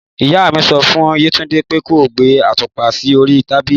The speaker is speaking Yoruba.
Ìyá mi sọ fùn yẹtùndẹ pẹ kò gbẹ àtupá sí òri tàbílì